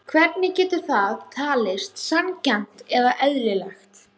Hvernig getur það talist sanngjarnt eða eðlilegt?